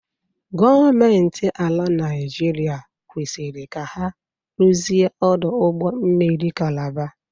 Gọọmenti ala Naịjiria kwesịrị ka ha ruzie ọdụ ụgbọ mmiri Kalaba.